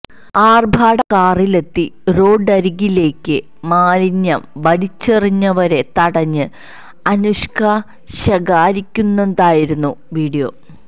ആർഭാട കാറിലെത്തി റോഡരികിലേക്ക് മാലിന്യം വലിച്ചെറിഞ്ഞവരെ തടഞ്ഞ് അനുഷ്ക ശകാരിക്കുന്നതായിരുന്നു വീഡിയോ